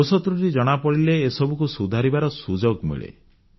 ଦୋଷତ୍ରୁଟି ଜଣାପଡ଼ିଲେ ଏସବୁକୁ ସୁଧାରିବାର ସୁଯୋଗ ମିଳେ